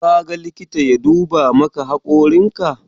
Ka ga likita ya duba maka hakorin ka?